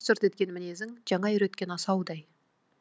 шырт шырт еткен мінезің жаңа үйреткен асаудай